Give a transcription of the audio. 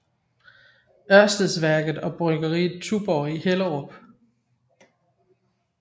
Ørstedsværket og bryggeriet Tuborg i Hellerup